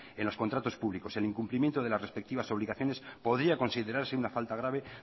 en los contratos públicos el incumplimiento de las respectivas obligaciones podrían considerarse una falta grave